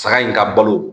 Saga in ka balo